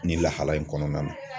Nin lahala in kɔnɔna na.